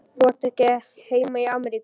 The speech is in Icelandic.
Átt þú ekki heima í Ameríku?